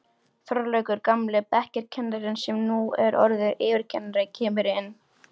Þorlákur, gamli bekkjarkennarinn sem nú er orðinn yfirkennari, kemur inn.